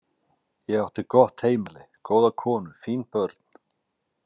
Ég átti gott heimili, góða konu, fín börn.